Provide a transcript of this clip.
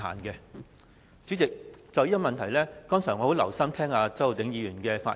代理主席，我剛才很留心聽周浩鼎議員的發言。